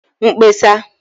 mkpesa